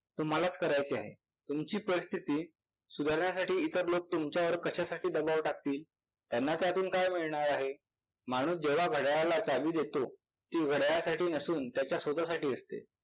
तुम्हालाच करायचे आहे. तुमची परिस्थिती सुधारण्यासाठी इतर लोक तुमच्यावर कशासाठी दबाव टाकतील? त्यांना त्यातून काय मिळणार आहे? माणूस जेव्हा घड्याळाला चावी देतो ती घड्याळासाठी नसून त्याच्या स्वत साठी असते.